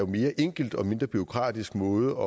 mere enkel og mindre bureaukratisk måde